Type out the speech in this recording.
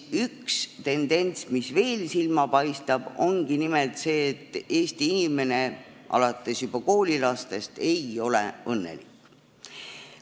Üks tendents, mis veel silma paistab, ongi nimelt see, et Eesti inimesed, alates juba koolilastest, ei ole õnnelikud.